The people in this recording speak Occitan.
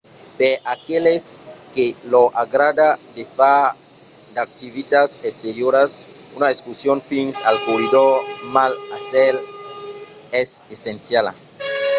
per aqueles que lor agrada de far d'activitats exterioras una excursion fins al corridor mar a cèl es essenciala